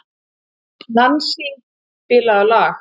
Nansý, spilaðu lag.